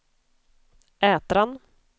Ätran